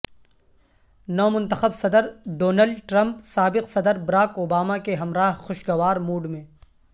نو منتخب صدر Donald Trump سابق صدر براک اوباما کے ہمراہ خوشگوار موڈ میں